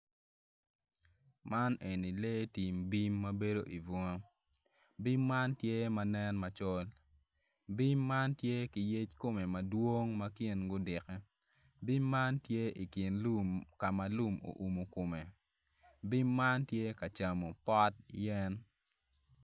Man enni lee tim bim ma bedo i bunga bim man tye ma nen macol bim man tye ki yer kume ma dwong ma yec komgi gudikke bim man tye i kin lum ka lum oumu kume bim man tye ka camo pot yen